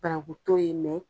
Banaku t'ɔ ye mɛn